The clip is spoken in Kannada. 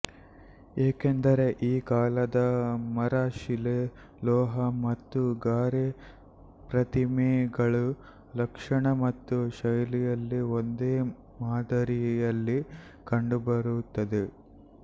ಏಕೆಂದರೆ ಈ ಕಾಲದ ಮರ ಶಿಲೆ ಲೋಹ ಮತ್ತು ಗಾರೆ ಪ್ರತಿಮೆಗಳು ಲಕ್ಷಣ ಮತ್ತು ಶೈಲಿಯಲ್ಲಿ ಒಂದೇ ಮಾದರಿಯಲ್ಲಿ ಕಂಡುಬರುತ್ತವೆ